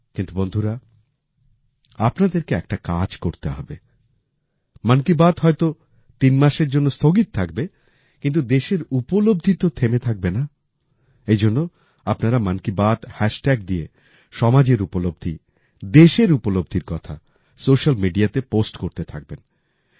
কিন্তু বন্ধুরা আপনাদেরকে একটা কাজ করতে হবে মন কি বাত হয়তো তিন মাসের জন্য স্থগিত থাকবে কিন্তু দেশের উপলব্ধি তো থেমে থাকবে না এইজন্য আপনারা মন কি বাত হ্যাশট্যাগ দিয়ে সমাজের উপলব্ধি দেশের উপলব্ধির কথা সোশিয়াল mediaতে পোস্ট করতে থাকবেন